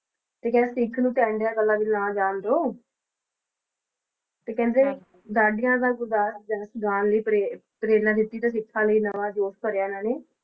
ਤੇ ਕਿਹਾ ਸਿੱਖ ਨੂੰ ਇਹਨਾਂ ਗੱਲਾਂ ਵਿਚ ਨਾ ਜਾਨ ਦੋ। ਤੇ ਕਹਿੰਦੇ, ਡਾਢਆਂ ਦਾ ਜਾਣ ਲਈ ਪ੍ਰੇਰਨਾ ਦਿਿੱਤੀ ਤੇ ਸਿੱਖਾ ਵਿਚ ਨਵਾਂ ਜੋਸ਼ ਭਰਿਆ ਇਹਨਾਂ ਨੇ